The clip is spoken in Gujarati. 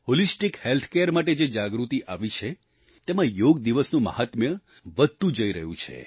હોલિસ્ટિક હેલ્થ કેર માટે જે જાગૃતિ આવી છે તેમાં યોગ દિવસનું મહાત્મ્ય વધતું જઈ રહ્યું છે